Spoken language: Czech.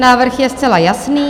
Návrh je zcela jasný.